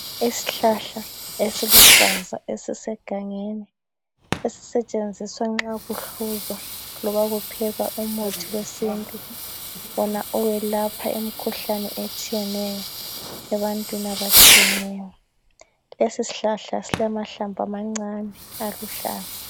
Isihlahla esiluhlaza esisegangeni esisetshenziswa nxa kuhluzwa loba kuphekwa umuthi wesintu wona oyelapha imkhuhlane etshiyeneyo ebantwini abatshiyeneyo. Isihlahla silamahlamvu amancane aluhlaza.